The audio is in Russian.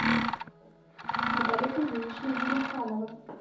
наталья кузьминична гилемханова